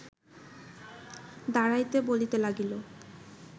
দাঁড়াইতে বলিতে লাগিল